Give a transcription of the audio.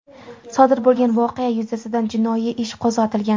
Sodir bo‘lgan voqea yuzasidan jinoiy ish qo‘zg‘atilgan.